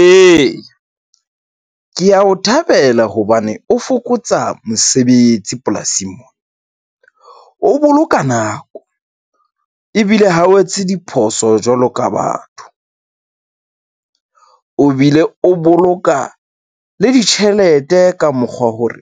E, ke a o thabela hobane o fokotsa mosebetsi polasing mona. O boloka nako ebile ha o etse diphoso jwalo ka batho . O bile o boloka le ditjhelete ka mokgwa hore